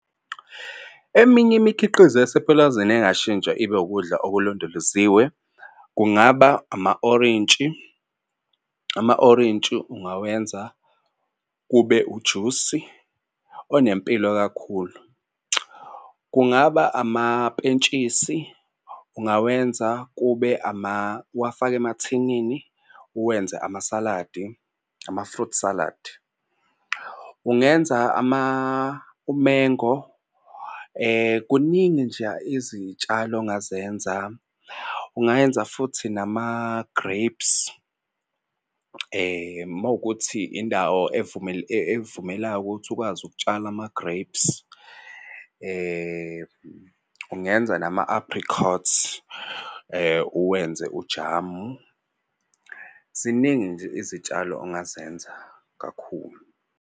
Eminye imikhiqizo yasepulazini engashintsha ibe ukudla okulondoloziwe kungaba ama-orintshi, ama-orintshi ungawenza kube ujusi onempilo kakhulu. Kungaba amapentshisi ungawenza kube uwafake emathinini uwenze amasaladi ama-fruit salad. Ungenza u-mango kuningi nje izitshalo ongazenza. Ungenza futhi nama-grapes uma kuwukuthi indawo evumelayo ukuth ukwazi ukutshala ama-grapes. Ungenza nama-apricots uwenze ujamu. Ziningi nje izitshalo ongazenza kakhulu.